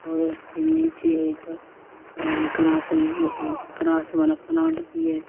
और उसके नीचे एक ग्रास ग्रास वाला प्लांट भी है।